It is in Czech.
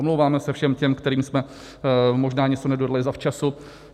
Omlouváme se všem těm, kterým jsme možná něco nedodali zavčasu.